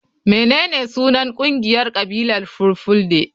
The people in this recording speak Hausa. Menene sunan kungiyar kabilar fulfulde?